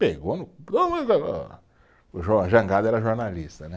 Pegou no, o Jangada era jornalista, né?